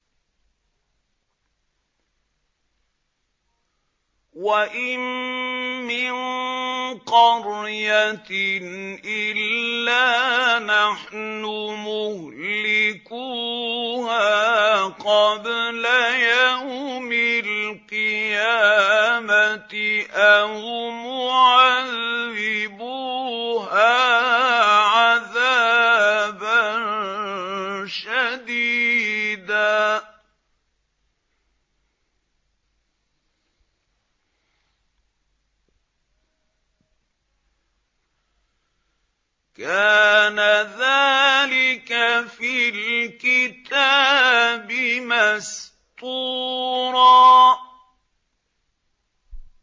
وَإِن مِّن قَرْيَةٍ إِلَّا نَحْنُ مُهْلِكُوهَا قَبْلَ يَوْمِ الْقِيَامَةِ أَوْ مُعَذِّبُوهَا عَذَابًا شَدِيدًا ۚ كَانَ ذَٰلِكَ فِي الْكِتَابِ مَسْطُورًا